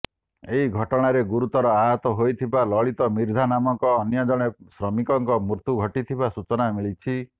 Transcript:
ଏହି ଘଟଣାରେ ଗୁରୁତର ଆହତ ହୋଇଥିବା ଲଳିତ ମିର୍ଦ୍ଧା ନାମକ ଅନ୍ୟଜଣେ ଶ୍ରମିକଙ୍କ ମୃତ୍ୟୁ ଘଟିଥିବା ସୂଚନା ମିଳିଛି